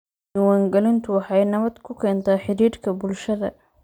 Diiwaangelintu waxay nabad ku keentaa xidhiidhka bulshada.